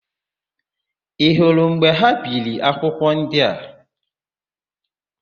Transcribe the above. Ị hụrụ mgbe ha biri akwụkwọ ndị a?